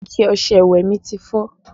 Ike ọṣẹ ìwẹ̀ mi ti fọ́